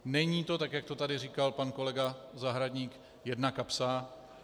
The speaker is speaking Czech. Není to tak, jak to tady říkal pan kolega Zahradník, jedna kapsa.